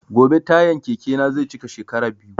Gobe tayan keke na zai cika shekara biyu